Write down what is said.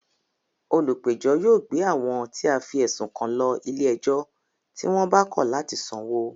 Olùpẹ̀jọ́ yóò gbé àwọn tí a fí ẹ̀sùn kan lọ ilé ẹjọ́ tí wọ́n bá kọ̀ látì sanwó